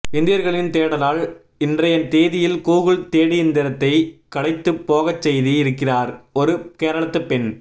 இந்தியர்களின் தேடலால் இன்றைய தேதியில் கூகுள் தேடியந்திரத்தையே களைத்துப் போகச்செய்திருக்கிறார் ஒரு கேரளத்துப்பெண்